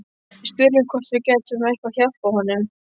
Við spurðum hvort við gætum eitthvað hjálpað honum.